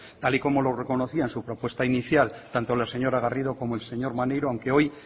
tal y como lo reconocía en su propuesta inicial tanto la señora garrido como el señor maneiro aunque hoy